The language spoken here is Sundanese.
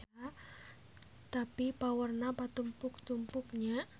Tapi paurna patumpuk-tumpuk nya.